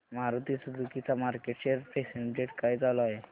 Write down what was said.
Maruti Suzuki चा market share percentage काय चालू आहे